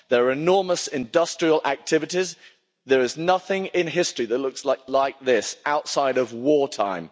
These are enormous industrial activities, there is nothing in history that looks like this outside of wartime.'